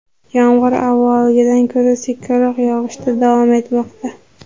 Yomg‘ir avvalgidan ko‘ra sekinroq yog‘ishda davom etmoqda.